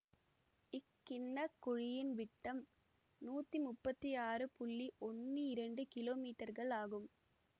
இக்கிண்ணக் குழியின் விட்டம் நூற்றி முப்பத்தி ஆறு ஒன்னு இரண்டு கிலோ மீட்டர்கள் ஆகும்